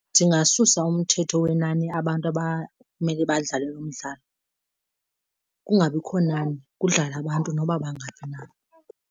Ndingasusa umthetho wenani abantu abamele badlale lo mdlalo kungabikho nani, kudlale abantu noba bangaphi na.